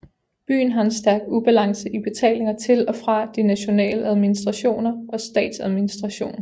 Byen har en stærk ubalance i betalinger til og fra de nationale administrationer og statsadministrationen